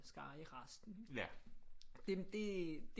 Skare i resten det